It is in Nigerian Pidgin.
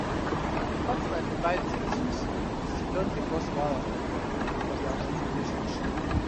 as him partner dey buy things for secrete don dey cause wahala for dia for dia money relationship